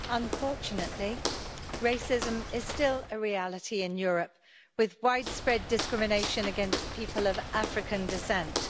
Mr President, unfortunately, racism is still a reality in Europe with widespread discrimination against people of African descent.